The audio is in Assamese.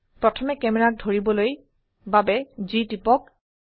প্ৰথমে ক্যামেৰাক ধৰিবলৈ বাবে G টিপক